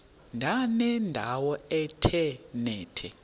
ndanendawo ethe nethe